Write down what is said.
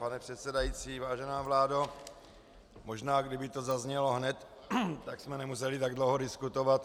Pane předsedající, vážená vládo, možná kdyby to zaznělo hned, tak jsme nemuseli tak dlouho diskutovat.